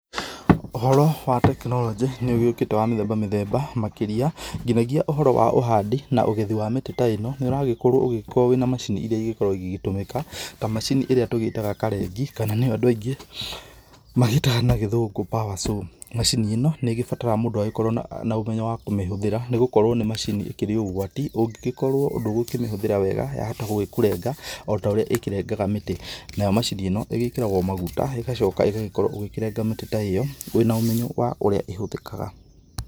Ũhoro wa tekinoronjĩ nĩ ũgĩũkĩte wa mĩthemba mĩthemba makĩria, nginyagia ũhoro wa ũhandi na ũgethi wa mĩtĩ ta ĩno, nĩ ũragĩkorwo ũgĩĩkwo wĩna macini iria igĩkorwo ĩgĩtũmĩka ta macini ĩrĩa tũgĩĩtaga karengi, kana nĩ yo andũ aingĩ magĩĩtaga na Gĩthũngũ power saw. Macini ĩno nĩ ĩgĩbataraga mũndũ agĩkorwo na na ũmenyo wa kũmĩhũthĩra nĩ gũkorwo nĩ macini ĩkĩrĩ ũgwati. Ũngĩgĩkorwo ndũgũkĩmĩhũthĩra wega yahota gũgĩkũrenga o ta ũrĩa ĩkĩrengaga mĩtĩ. Nayo macini ĩno ĩgĩĩkĩragwo maguta, ĩgacoka ĩgagĩkorwo ũgĩkĩrenga mĩtĩ ta ĩyo wĩna ũmenyo wa ũrĩa ĩhũthĩkaga.